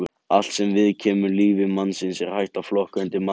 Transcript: Allt sem viðkemur lífi mannsins er hægt að flokka undir mannfræði.